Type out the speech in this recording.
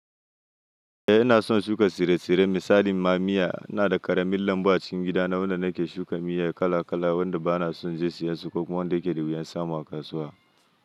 Eh ina son shuka tsire-tsire misali ma miya. Ina da ƙaramin lambu a cikin gida na wanda nake shuka miya kala-kala wanda ba na son je siyan su ko kuma wanda ke da wuyan samu a kasuwa.